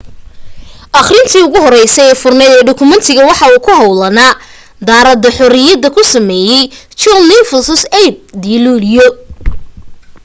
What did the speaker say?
akhrintii ugu horeysa ee furanayd ee dukumeentiga waxa ku hoolka daaradda xorriyada ku sameeyay john nixon 8 dii luulyo